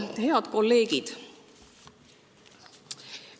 Head kolleegid!